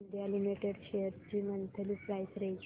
Coal India Limited shares ची monthly price range